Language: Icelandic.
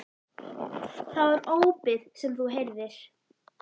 Það var ópið sem þú heyrðir.